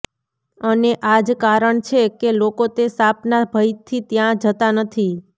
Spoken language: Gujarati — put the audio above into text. અને આ જ કારણ છે કે લોકો તે શાપના ભયથી ત્યાં જતા નથી